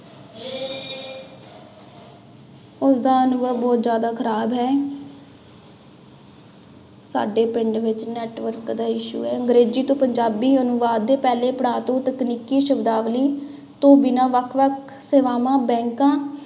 ਉਸਦਾ ਅਨੁਭਵ ਬਹੁਤ ਜ਼ਿਆਦਾ ਖ਼ਰਾਬ ਹੈ ਸਾਡੇ ਪਿੰਡ ਵਿੱਚ network ਦਾ issue ਹੈ, ਅੰਗਰੇਜ਼ੀ ਤੋਂ ਪੰਜਾਬੀ ਅਨੁਵਾਦ ਦੇ ਪਹਿਲੇ ਪੜ੍ਹਾਅ ਤੋਂ ਤਕਨੀਕੀ ਸ਼ਬਦਾਵਲੀ ਤੋਂ ਬਿਨਾਂ ਵੱਖ ਵੱਖ ਸੇਵਾਵਾਂ ਬੈਕਾਂ